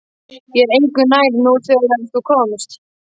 Ég er engu nær nú en þegar þú komst.